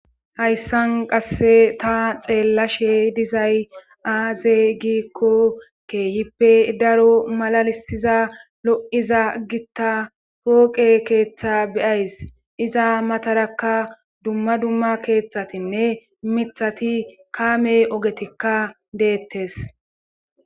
Hayssan qasse ta xeella she dizay aaze giikko keehippe daro malalisiza lo7iza gitta pooqe keeththa beyays iza matarakka dumma dumma keeththatinne mithati kaamey ogetikka deettes